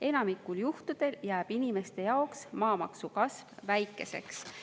Enamikul juhtudel jääb inimeste jaoks maamaksu kasv väikeseks.